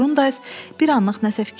Qrundays bir anlıq nəsə fikirləşdi.